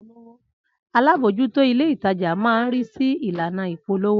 Alábòójútó ilé ìtajà máa ń ri si ìlànà ìpolówó